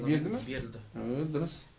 берді ма берілді аа дұрыс